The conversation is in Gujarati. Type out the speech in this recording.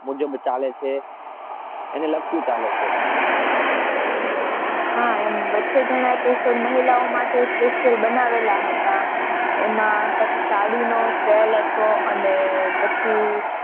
મુજબ ચાલે છે અને લાગતું ચાલે છે.